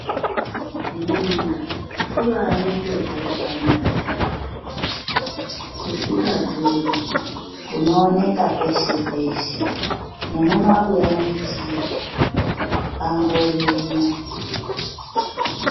Ninga kubai kurwa kwakanaka yambo kusingadhuri kunoneka peshe peshe nemumabuya mwetiri angorimwo.